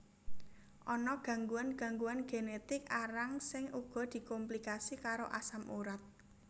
Ana gangguan gangguan genetik arang sing uga dikomplikasi karo asam urat